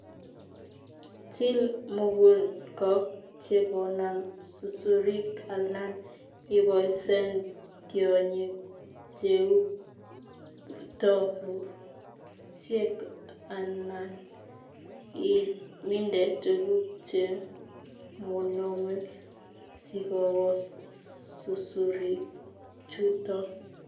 Til mukunkok chekonam susurik alan iboisien tiongik cheu ptorurusiek alan iminde tuguk chemonome sikobos susurikchuton.